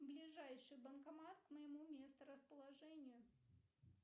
ближайший банкомат к моему месторасположению